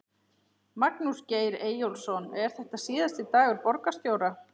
Magnús Geir Eyjólfsson: Er þetta síðasti dagur borgarstjóra?